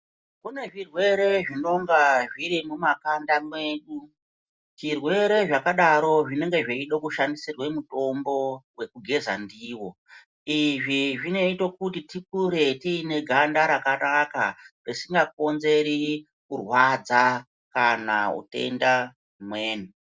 Kune zvirwere zvinonga zviri mumakanda mwedu. Zvirwere zvakadaro zvinenge zveide kushandisirwe mutombo wokugeza ndiwo. Izvi zvinoite kuti tikure tiine ganda rakanaka, risikakonzeri kurwadza kana utenda humweni.